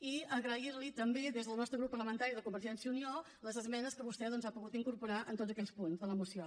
i agrair li també des del nostre grup parlamentari de convergència i unió les esmenes que vostè ha pogut incorporar en tots aquells punts de la moció